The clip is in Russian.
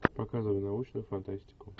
показывай научную фантастику